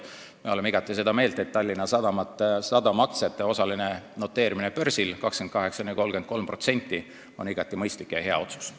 Me oleme igati seda meelt, et Tallinna Sadama aktsiate osaline noteerimine börsil, 28–33%, on igati mõistlik ja hea otsus.